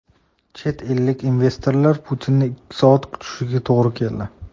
Chet ellik investorlar Putinni ikki soat kutishiga to‘g‘ri keldi.